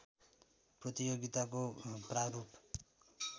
प्रतियोगिताको प्रारूप